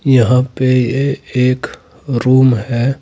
यहां पे ये एक रूम है।